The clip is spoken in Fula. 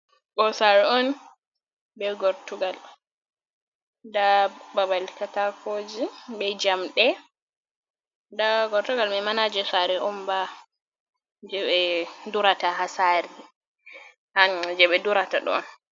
Ɓosaru on be gortugal, nda babal katakoji be jamɗe nda gortugal maima naje sare onba jeɓe durata ha sare an je ɓe durata ɗo.